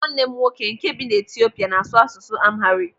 Nwanne m nwoke nke bi n'Etiopia n'asụ asụsụ Amharic.